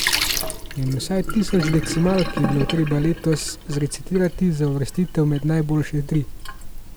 In vsaj tisoč decimalk je bilo treba letos zrecitirati za uvrstitev med najboljše tri.